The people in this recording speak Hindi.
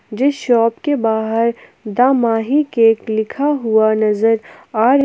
जिस शॉप के बाहर द माही केक लिखा हुआ नजर आ र--